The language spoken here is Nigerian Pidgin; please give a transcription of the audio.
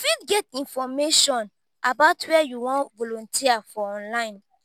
you fit get information about where you wan volunteer for online